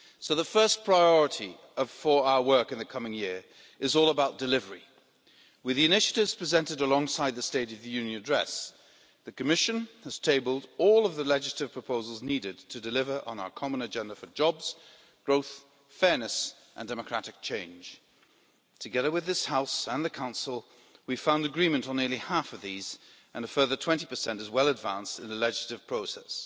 So the first priority for our work in the coming year is all about delivery. With the initiatives presented alongside the State of the Union address, the Commission has tabled all of the legislative proposals needed to deliver on our common agenda for jobs, growth, fairness and democratic change. Together with this House, and the Council, we have found agreement on nearly half of these and a further 20 are well advanced in the legislative process.